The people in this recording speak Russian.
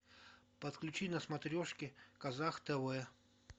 подключи на смотрешке казах тв